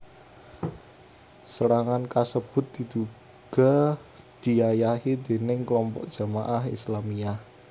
Serangan kasebut diduga diayahi déning klompok Jamaah Islamiyah